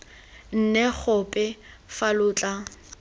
nne gope fa lo tla